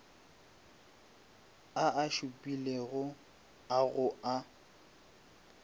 a a šupilego ao a